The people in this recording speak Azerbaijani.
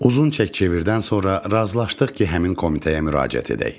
Uzun çək-çevirdən sonra razılaşdıq ki, həmin komitəyə müraciət edək.